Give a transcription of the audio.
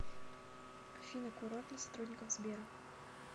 афина курорт для сотрудников сбера